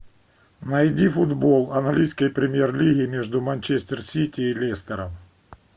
найди футбол английской премьер лиги между манчестер сити и лестером